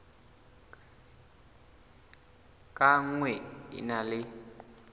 ka nngwe e na le